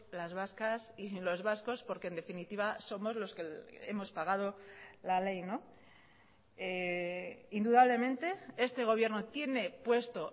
las vascas y los vascos porque en definitiva somos los que hemos pagado la ley indudablemente este gobierno tiene puesto